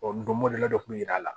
ndɔmin dɔ kun bɛ yira a la